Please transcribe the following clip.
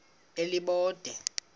elibode